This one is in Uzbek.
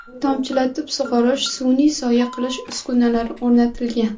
Tomchilatib sug‘orish, sun’iy soya qilish uskunalari o‘rnatilgan.